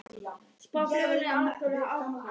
Spá flugfélögum auknum hagnaði